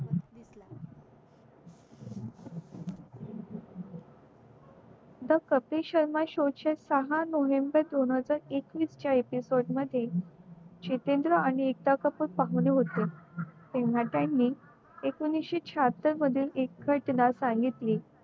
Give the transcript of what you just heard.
Kapil Sharma show चे सहा November दोन हजार एकवीस च्या episode मध्ये जितेंद्र आणि एकता कपूर पहिले होते तेव्हा त्यांनी एकोणीशे सहातर मध्ये एक सांगितली